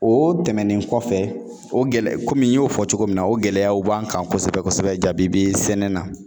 O tɛmɛnen kɔfɛ, o gɛlɛya komi n y'o fɔ cogo min na ,o gɛlɛyaw b'an kan kosɛbɛ kosɛbɛ jabibi sɛnɛ na.